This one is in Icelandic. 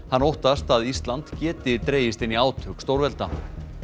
hann óttast að Ísland geti dregist inn í átök stórvelda